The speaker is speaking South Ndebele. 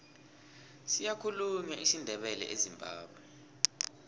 siyakhulunywa isindebele ezimbabwe